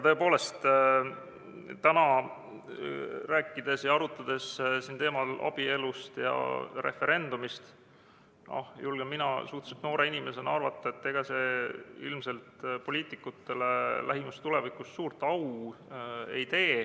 Tõepoolest, täna arutledes abielu ja referendumi teemal, julgen mina suhteliselt noore inimesena arvata, et ega see ilmselt poliitikutele lähimas tulevikus suurt au ei tee.